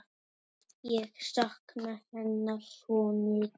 Ég sakna hennar svo mikið.